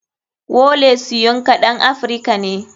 Wole soyinka ɗan africa ne.